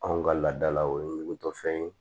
Anw ka laadalaw o ye ɲugutɔfɛn ye